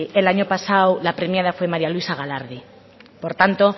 el año pasado la premiada fue maría luisa galardi